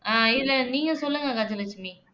ஆஹ் இதுல நீங்க சொல்லுங்க கஜலட்சுமி